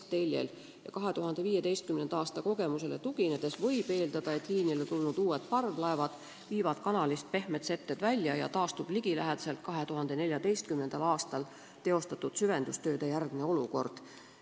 Veeteede Ameti hinnangu kohaselt võib 2015. aasta kogemusele tuginedes eeldada, et liinile tulnud uued parvlaevad viivad kanalist pehmed setted välja ja taastub ligilähedaselt 2014. aastal teostatud süvendustööde järgne olukord.